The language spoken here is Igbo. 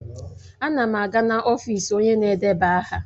Ana m aga n'ọfịs onye na-edeba aha.